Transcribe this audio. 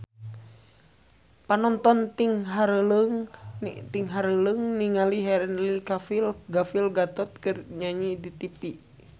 Panonton ting haruleng ningali Henry Cavill Gal Gadot keur nyanyi di tipi